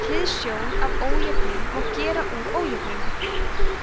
með hliðsjón af ójöfnu má gera úr ójöfnuna